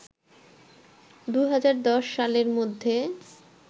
২০১০ সালের মধ্যে